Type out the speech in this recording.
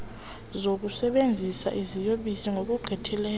zokusebenzisa iziyobisi ngokugqithisileyo